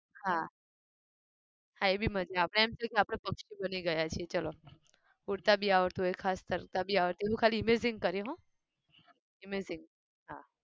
હા હા એ બી મજા આપણે એમ થાય કે આપણે પક્ષી બની ગયા છીએ ચાલો. ઉડતા બી આવડતું હોય ખાસ તરતા બી આવડતું હોય એવું ખાલી imagine કરીએ હો imagine હા